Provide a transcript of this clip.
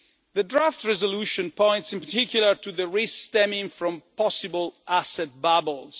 The draft resolution points in particular to the risks stemming from possible asset bubbles.